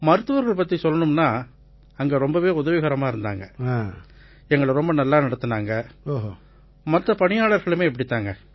மருத்துவர்கள் பத்திச் சொல்லணும்னா அவங்க ரொம்பவே உதவிகரமா இருந்தாங்க எங்களை ரொம்ப நல்லா நடத்தினாங்க மத்த பணியாளர்களுமே இப்படித்தான்